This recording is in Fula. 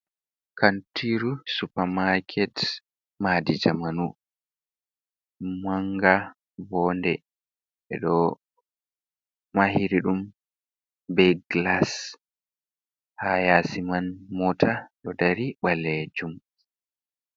Kantiru supermarket, madi jamanu manga wonnde, ɓe ɗo mahiri ɗum be glas, ha yesoiman mota ɗo dari ɓalejum.